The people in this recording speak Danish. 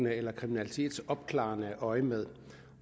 eller kriminalitetsopklarende øjemed